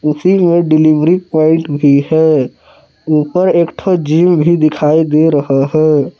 उसी में delivery point भी है ऊपर एक ठो जिम भी दिखाई दे रहा है।